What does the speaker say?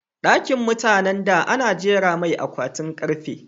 Ɗakin mutanan da ana jera mai akwatin karfe